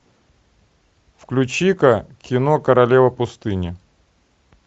включи ка кино королева пустыни